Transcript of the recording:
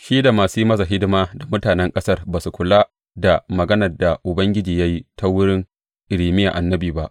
Shi da masu yin masa hidima da mutanen ƙasar ba su kula da maganar da Ubangiji ya yi ta wurin Irmiya annabi ba.